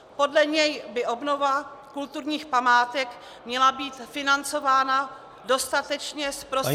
Podle něj by obnova kulturních památek měla být financována dostatečně z prostředků -